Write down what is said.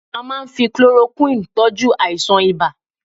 A máà ń fi chloroquine tọ́jú àìsàn ibà